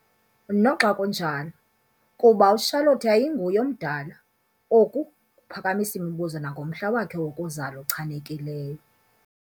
Noxa kunjalo, kuba uCharlotte yayinguye omdala, oku kuphakamisa imibuzo nangomhla wakhe wokuzalwa ochanekileyo.